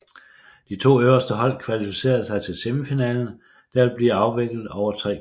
De 2 øverste hold kvalificere sig til semifinalen der vil blive afviklet over 3 kampe